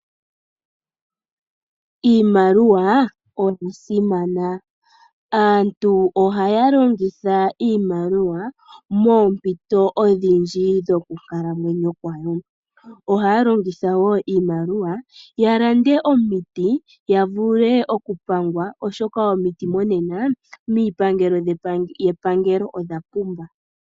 Iimaliwa oya simana, aantu ohaya longitha iimaliwa moompito odhindji dhoku kalamwenyo kwawo. Ohaya longitha wo iimaliwa ya lande omiti ya vule okupangwa, oshoka omiti monena miipangelo yepangelo odha pumba.